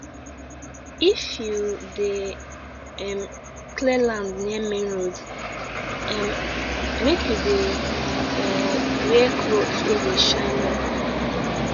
if you dey um clear land near main road um make you dey um wear cloth wey dey shine well